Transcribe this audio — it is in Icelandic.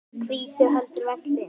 og hvítur heldur velli.